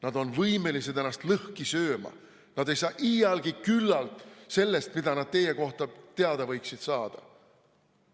Nad on võimelised ennast lõhki sööma, neil ei saa iialgi küllalt sellest, mida nad teie kohta teada võiksid saada.